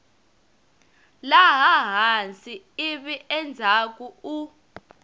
laha hansi ivi endzhaku u